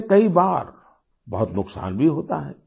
इससे कई बार बहुत नुकसान भी होता है